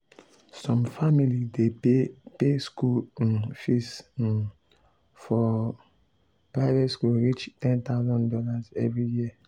some family dey pay pay school um fees um for um private school reach $10k every year